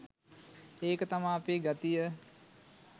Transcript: ඒක තමා අපේ ගතිය